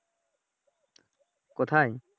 কোথায়?